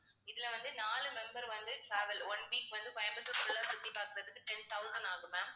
இதுல வந்து நாலு member வந்து travel one week வந்து கோயம்புத்தூர் full ஆ சுத்தி பார்க்கிறதுக்கு ten thousand ஆகும் ma'am